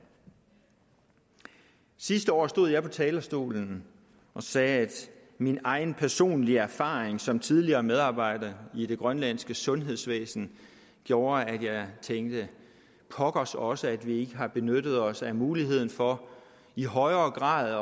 sidste år stod jeg på talerstolen og sagde at min personlige erfaring som tidligere medarbejder i det grønlandske sundhedsvæsen gjorde at jeg tænkte pokkers også at vi ikke har benyttet os af muligheden for i højere grad